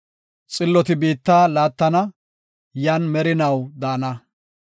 Xilloti biitta laattana; yan merinaw daana.